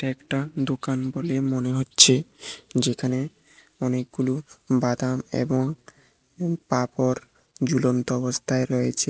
একটা দোকান বলে মনে হচ্ছে যেখানে অনেকগুলো বাদাম এবং পাঁপড় ঝুলন্ত অবস্থায় রয়েছে।